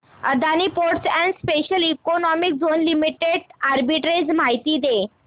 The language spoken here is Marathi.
Adani ports and special economic zone limited arbitrage माहिती दे